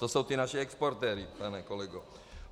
To jsou ti naši exportéři, pane kolego.